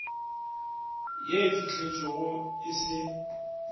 ye e fihletšwego e se